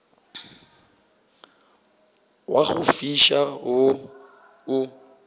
wa go fiša wo o